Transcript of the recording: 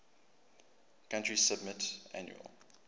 country submit annual